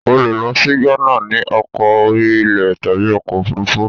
O le lọ sí Gánà ni ọkọ̀ orí ilẹ̀ tàbí ọkọ̀ òfuurufú.